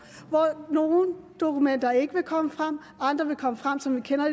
hvor nogle dokumenter ikke vil komme frem og andre vil komme frem som vi kender